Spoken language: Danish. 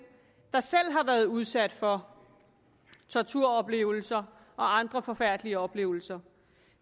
der selv har været udsat for torturoplevelser og andre forfærdelige oplevelser